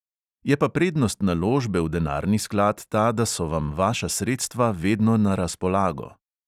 Je pa prednost naložbe v denarni sklad ta, da so vam vaša sredstva vedno na razpolago.